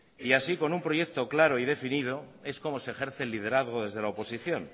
así con un proyecto claro y definido es como se ejerce el liderazgo desde la oposición